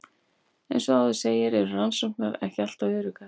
Eins og áður segir eru rannsóknir ekki alltaf öruggar.